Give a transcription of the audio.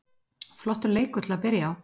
Flottur leikur til að byrja á.